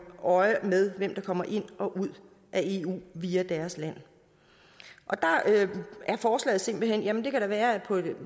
øje med hvem der kommer ind og ud af eu via deres land der er forslaget simpelt hen jamen det kan da være at